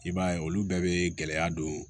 I b'a ye olu bɛɛ bɛ gɛlɛya don